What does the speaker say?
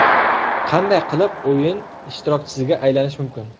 Qanday qilib o‘yin ishtirokchisiga aylanish mumkin?